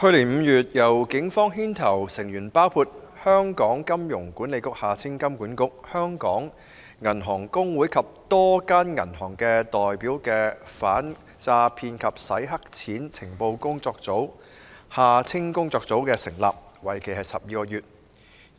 去年5月，由警方牽頭、成員包括香港金融管理局、香港銀行公會及多家銀行的代表的反訛騙及洗黑錢情報工作組成立，為期12個月。